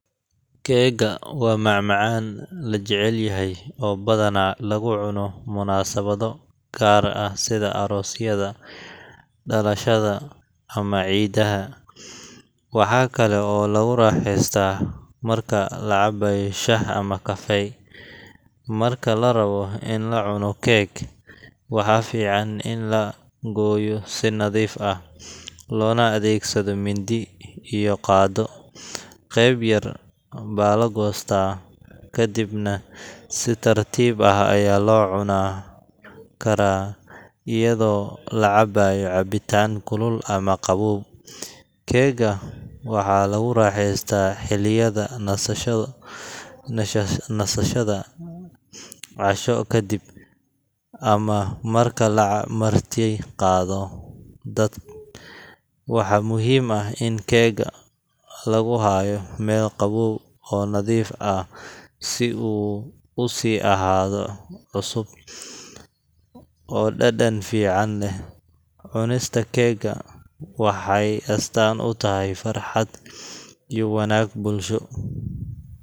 Keega waa macmacaan la jecel yahay oo badanaa lagu cuno munaasabado gaar ah sida aroosyada, dhalashada, ama ciidaha. Waxaa kale oo lagu raaxaystaa marka la cabayo shaah ama kafe. Marka la rabo in la cuno keeg, waxaa fiican in la gooyo si nadiif ah, loona adeegsado mindi iyo qaaddo. Qayb yar baa la goostaa, kadibna si tartiib ah ayaa loo cuni karaa iyadoo la cabayo cabitaan kulul ama qabow. Keega waxaa lagu raaxaystaa xilliyada nasashada, casho ka dib, ama marka la martiqaado dad. Waxaa muhiim ah in keega lagu hayo meel qabow oo nadiif ah si uu u sii ahaado cusub oo dhadhan fiican leh. Cunista keega waxay astaan u tahay farxad iyo wadaag bulsho.